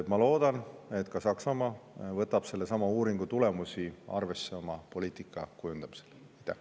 Ma loodan, et ka Saksamaa võtab sellesama uuringu tulemusi oma poliitika kujundamisel arvesse.